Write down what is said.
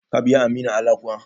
Ka biya Aminu Ala kuwa?